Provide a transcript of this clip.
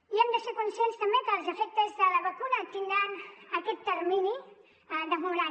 i hem de ser conscients també que els efectes de la vacuna tindran aquest termini demorat